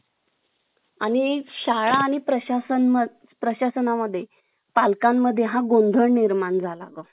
आणि शाळा आणि प्रशासन प्रशासना मध्ये पालकां मध्ये हा गोंधळ निर्माण झाला होता